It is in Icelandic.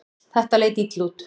Þetta leit illa út.